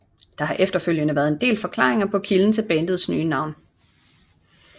Der har efterfølgende været en del forklaringer på kilden til bandets nye navn